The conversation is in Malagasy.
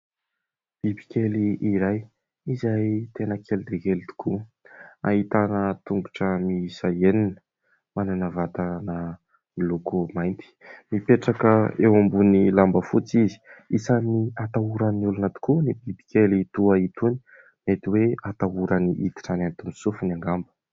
Bibikely iray izay tena kely dia kely tokoa, ahitana tongotra miisa enina, manana vatana miloko mainty, mipetraka eo ambonin'ny lamba fotsy izy, isan'ny atahoran'ny olona tokoa ny bibikely toa itony nety hoe hatahorany hiditra any anatin'ny sofiny angamba.